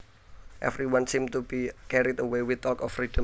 Everyone seemed to be carried away with talk of freedom